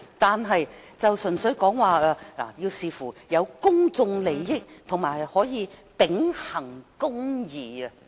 當局提到要視乎公眾利益，以及可以秉行公義。